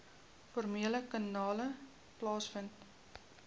formele kanale plaasvind